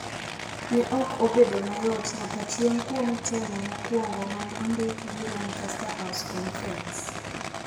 ne ok obedo mayot nyaka chieng’ kuom temo mokwongo ma ne ondiki gi Lancaster House Conference.